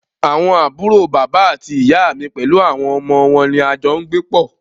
Àwọn àbúrò bàbá àti ìyá mí pẹlú àwọn ọmọ wọn ní a jọ n gbé pọ́.